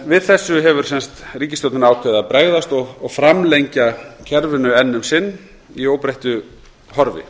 við þessu hefur ríkisstjórnin ákveðið að bregðast og framlengja kerfið enn um sinn í óbreyttu horfi